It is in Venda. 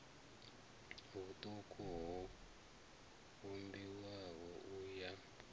vhuṱuku ho vhumbiwaho u ya